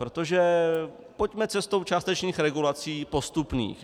Protože pojďme cestou částečných regulací postupných.